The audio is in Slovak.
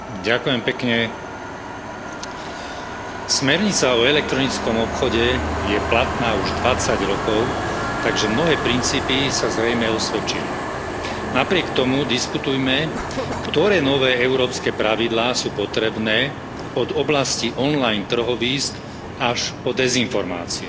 Vážený pán predsedajúci, smernica o elektronickom obchode je platná už dvadsať rokov, takže mnohé princípy sa zrejme osvedčili. Napriek tomu diskutujme, ktoré nové európske pravidlá sú potrebné od oblasti online trhovísk až po dezinformácie.